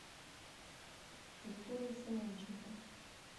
викторией семенченко